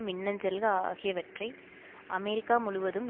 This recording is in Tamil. மின்னஞ்சல்கள் ஆகியவற்றை அமெரிக்கா முழுவதும்